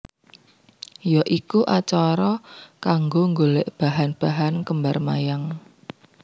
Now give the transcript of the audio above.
Ya iku acara kanggo nggolek bahan bahan kembar mayang